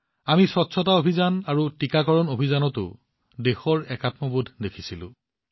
আমি পৰিষ্কাৰপৰিচ্ছন্নতা অভিযান আৰু টীকাকৰণ অভিযানতো দেশৰ সত্বা প্ৰত্যক্ষ কৰিছিলো